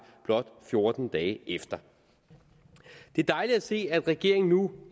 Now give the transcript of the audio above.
blot fjorten dage efter det er dejligt at se at regeringen nu